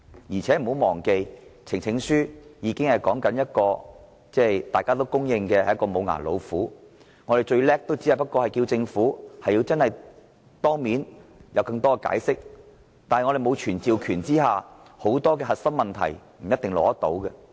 大家不要忘記，藉呈請書成立的專責委員會是公認的"無牙老虎"，最多只能要求政府當面作進一步解釋，在沒有傳召權的情況下，很多核心問題也未必能夠取得答案。